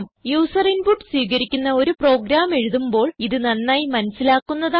user input സ്വീകരിക്കുന്ന ഒരു program എഴുതുമ്പോൾ നന്നായി ഇത് മനസിലാക്കുന്നതാണ്